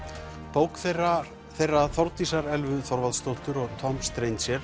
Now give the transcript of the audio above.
bók þeirra þeirra Þórdísar Elvu Þorvaldsdóttur og Tom